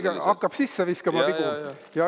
Tuleb-tuleb, hakkab sisse viskama vigu.